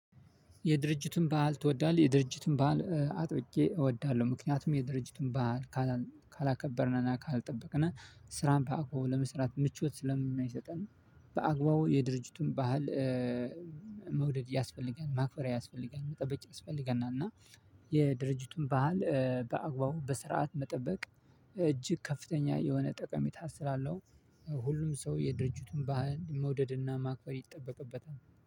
የድርጅቱን በዓል ትወዳለህ? የድርጅቱን በዓል አጥብቄ እወዳለሁ። ምክንያቱም የድርጅቱን በዓል ካላከበርነና ካልጠበቅነ ስራን በአግባቡ ለመስራት ምቾት ስለማይሰጠን በአግባቡ የድርጅቱን ባህል መውደድ ያስፈልገናል። ማክበር ያስፈልገናል። መጠበቅ ያስፈልገናል። እና የድርጅቱን ባህል በአግባቡ በስርዓት መጠበቅ እጅግ ከፍተኛ የሆነ ጠቀሜታ ስላለው ሁሉም ሰው የድርጅቱን ባህል መውደድና ማክበር ይጠበቅበታል።